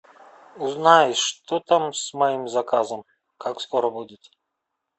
узнай что там с моим заказом как скоро будет